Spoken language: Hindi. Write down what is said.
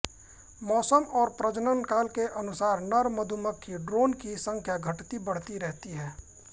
मौसम और प्रजनन काल के अनुसार नर मधुमक्खी ड्रोन की संख्या घटतीबढ़ती रहती है